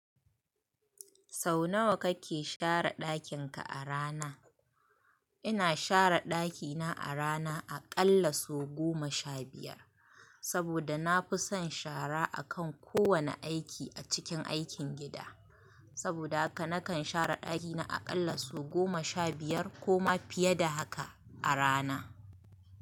Sau nawa kake share ɗakin ka a rana? Ina share ɗakina a rana aƙalla sau goma sha biyar. Saboda na fi son shara a kan kowane aiki a cikin aikin gida. Saboda haka nakan share ɗakina aƙalla sau goma sha biyar koma fiye da haka a rana.